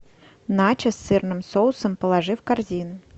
начос с сырным соусом положи в корзину